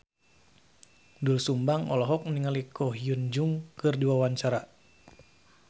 Doel Sumbang olohok ningali Ko Hyun Jung keur diwawancara